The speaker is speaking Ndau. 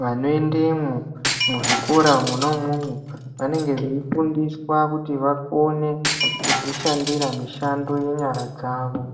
vanoendemwo muzvikora mwona imwomwo vanenge veifundiswa kuti vakone kudzishandira mishando yenyara dzavo.